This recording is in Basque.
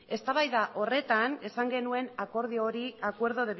eztabaida horretan esan genuen akordio hori acuerdo